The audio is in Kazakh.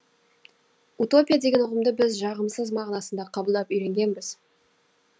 утопия деген ұғымды біз жағымсыз мағынасында қабылдап үйренгенбіз